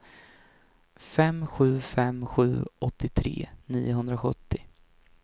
fem sju fem sju åttiotre niohundrasjuttio